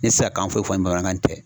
N tɛ se k'an foyi fɔ nin bamanankan in tɛ